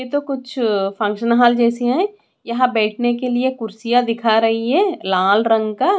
यह तो कुछ अ फंक्शन हॉल जैसी है यहाँ बैठने के लिए कुर्सियाँ दिखा रही है लाल रंग का--